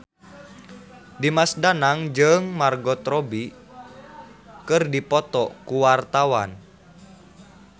Dimas Danang jeung Margot Robbie keur dipoto ku wartawan